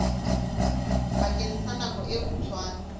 bakeng sa nako e kgutshwane